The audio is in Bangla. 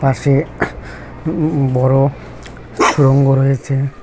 পাশে উমম বড় সুরঙ্গ রয়েছে।